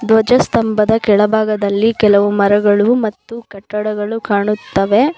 ಧ್ವಜಸ್ತಂಭದ ಕೆಳಭಾಗದಲ್ಲಿ ಕೆಲವು ಮರಗಳು ಮತ್ತು ಕಟ್ಟಡಗಳು ಕಾಣುತ್ತವೆ.